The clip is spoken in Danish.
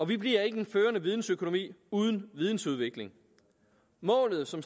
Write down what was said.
vi bliver ikke en førende vidensøkonomi uden vidensudvikling målet som